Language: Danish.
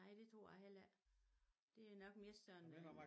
Nej det tror jeg heller ikke det nok mere sådan en